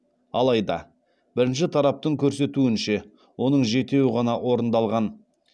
алайда бірінші тараптың көрсетуінше оның жетеуі ғана орындалған